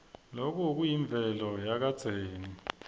loku kuyimvelo yakadzeni